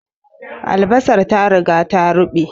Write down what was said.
Albasar ta riga ta ruɓe